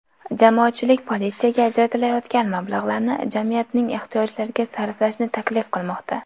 Jamoatchilik politsiyaga ajratilayotgan mablag‘larni jamiyatning ehtiyojlariga sarflashni taklif qilmoqda.